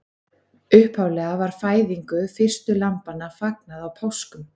Upphaflega var fæðingu fyrstu lambanna fagnað á páskum.